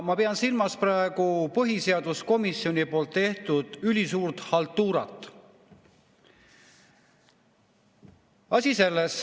Ma pean silmas põhiseaduskomisjoni tehtud ülisuurt haltuurat.